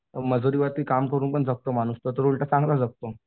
मजुरीवरती पण काम करून जगतो माणूस तो तर उलटा चांगला जगतो.